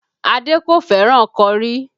Adé kò fẹ́ràn kọrí